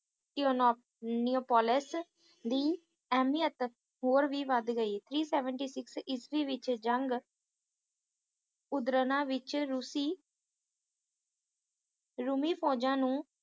ਨੋਪੋਲਿਸ ਦੀ ਅਹਿਮੀਅਤ ਹੋਰ ਵੀ ਵੱਧ ਗਈ three seventy six ਇਸਵੀਂ ਵਿੱਚ ਜੰਗ ਉਦਰਨਾ ਵਿੱਚ ਰੂਸੀ ਰੂਮੀ ਫੌਜਾਂ ਨੂੰ